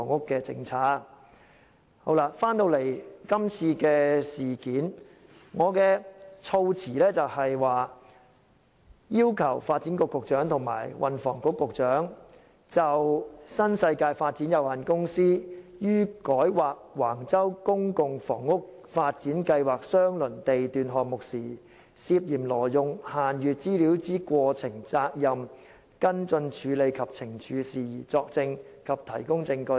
說回今次的事件，我的措辭是要求"傳召發展局局長及運輸及房屋局局長就新世界發展有限公司於改劃橫洲公共房屋發展計劃相鄰地段項目時，涉嫌挪用限閱資料之過程、責任、跟進處理及懲處事宜，作證及提供證據"。